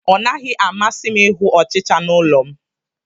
Ọ naghị m amasị ịhụ ọchịcha n'ụlọ m